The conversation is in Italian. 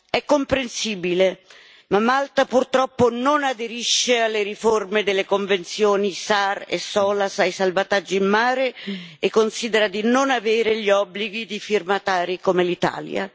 È comprensibile, ma Malta, purtroppo non aderisce alle riforme delle Convenzioni SAR e SOLAS sui salvataggi in mare e considera di non avere gli obblighi di firmatari come l'Italia.